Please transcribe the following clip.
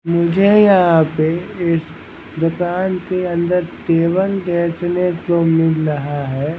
मुझे यहाँ पे इस दुकान के अंदर केवल देखने को मिल रहा है।